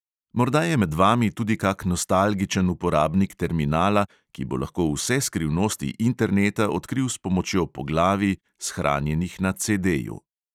Morda je med vami tudi kak nostalgičen uporabnik terminala, ki bo lahko vse skrivnosti interneta odkril s pomočjo poglavij, shranjenih na CDju.